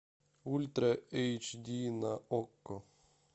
ультра эйч ди на окко